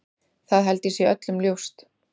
Það held ég sé öllum ljóst.